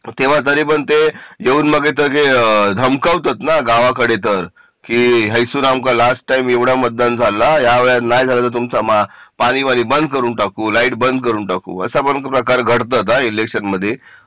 तेव्हा तरी पण ते येऊन इथ मग ते धमकवतात ना गावाकडे तर हाय सून आमका लास्ट टाईम एवढा मतदान झाला ह्या वेळी नाही झाला तर तुमचा पाणी बाणी बंद करून टाकू लाईट बंद करून टाकू असा पण प्रकार घडतात हा इलेक्शन मध्ये